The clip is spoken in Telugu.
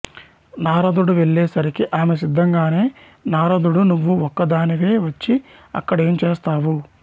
నారదుడు వెళ్లే సరికి ఆమె సిద్దంగానే నారదుడు నువ్వు ఒక్కదానివె వచ్చి అక్కడ ఏంచేస్తావు